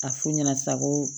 A f'u ɲɛna sa ko